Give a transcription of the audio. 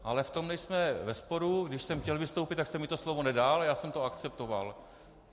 Ale v tom nejsme ve sporu, když jsem chtěl vystoupit, tak jste mi to slovo nedal, a já jsem to akceptoval.